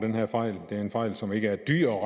den her fejl det er en fejl som ikke er dyr at